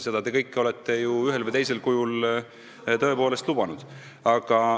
Seda kõike te olete ühel või teisel kujul tõepoolest lubanud.